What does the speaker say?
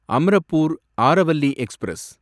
Amrapur Aravalli express